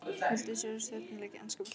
Vilt þú sjá stjörnuleik í enska boltanum?